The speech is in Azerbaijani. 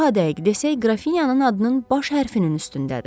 Daha dəqiq desək, qrafiyanın adının baş hərfinin üstündədir.